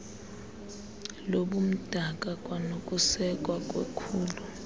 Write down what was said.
lobumdaka kwanokusekwa kwekhulu